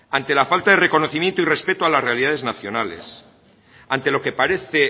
ante la falta de reconocimiento y respeto a las realidades nacionales ante lo que parece